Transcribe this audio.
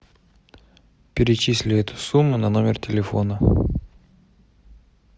перечисли эту сумму на номер телефона